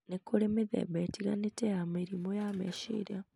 Nĩ kũrĩ mĩthemba ĩtiganĩte ya mĩrimũ ya meciria,